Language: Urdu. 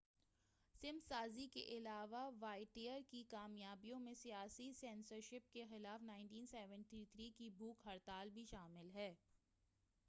سمت سازی کے علاوہ واوٹیئر کی کامیابیوں میں سیاسی سنسرشپ کے خلاف 1973 کی بھوک ہڑتال بھی شامل ہے